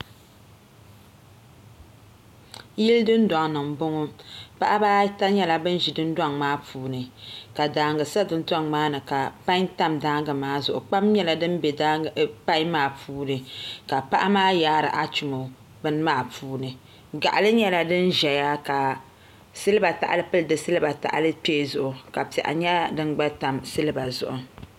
Yili dundoŋ ni n boŋo paɣaba ata myɛla bin ʒi dundoŋ maa puuni ka daangi sa dundoŋ maa ni ka pai tam daangI maa zuɣi kpam nyɛla din bɛ pai maa puuni ka paɣa maa yaari achmo bini maa puuni gaɣali nyɛla din ʒɛya ka silba tahali poli ka piɛɣu nyɛ dingba tam silba zuɣu